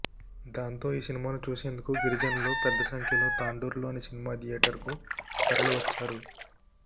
దాంతో ఈ సినిమాను చూసేందుకు గిరిజనులు పెద్ద సంఖ్యలో తాండూరులోని సినిమా థియేటర్కు తరలి వచ్చారు